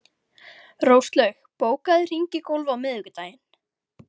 Róslaug, bókaðu hring í golf á miðvikudaginn.